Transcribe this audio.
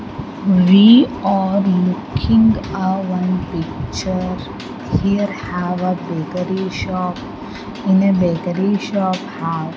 We are looking a one picture here have a bakery shop in a bakery shop have --